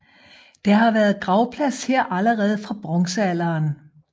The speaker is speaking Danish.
Der har været gravplads her allerede fra bronzealderen